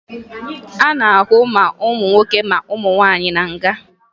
A na-ahụ ma ụmụ nwoke ma ụmụ nwaanyị na nga